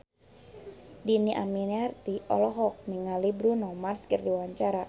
Dhini Aminarti olohok ningali Bruno Mars keur diwawancara